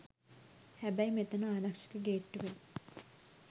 හැබැයි මෙතන ආරක්ෂක ගේට්ටුවෙන්